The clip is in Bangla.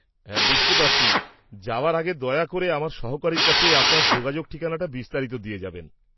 হ্যাঁ বুঝতে পারছি। যাওয়ার আগে দয়া করে আমার সহকারীর কাছে আপনার যোগাযোগ ঠিকানা বিস্তারিত দিয়ে যাবেন।